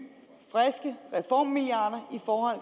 friske reformmilliarder